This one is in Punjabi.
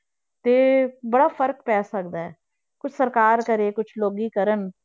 ਤੇ ਬੜਾ ਫ਼ਰਕ ਪੈ ਸਕਦਾ ਹੈ, ਕੁੱਝ ਸਰਕਾਰ ਕਰੇ ਕੁਛ ਲੋਕੀ ਕਰਨ